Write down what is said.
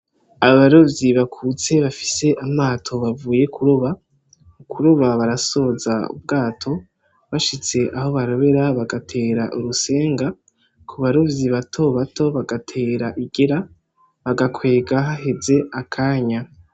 Abarovyi bakuze bafise amato bavuye kuroba, kuroba barasoza ubwato bashitse aho barobera bagatera urusenga kubarovyi bato bato bagatera igera bagakwega haheze akanya.